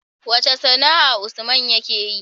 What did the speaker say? Wace sAna'a usman yake yi?